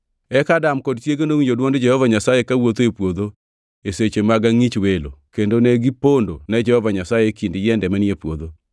Eka Adam kod chiege nowinjo dwond Jehova Nyasaye kawuotho e puodho e seche mag angʼich welo kendo ne gipondo ne Jehova Nyasaye e kind yiende manie puodho.